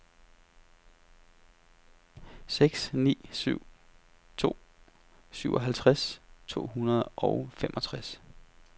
seks ni syv to syvoghalvtreds to hundrede og femogtres